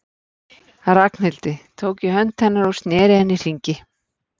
Ragnhildi, tók í hönd hennar og sneri henni í hringi.